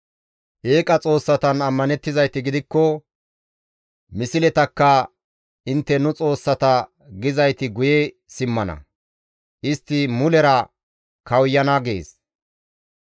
Eeqa xoossatan ammanettizayti gidikko misletakka, ‹Intte nu xoossata› gizayti guye simmana; istti mulera kawuyana» gees.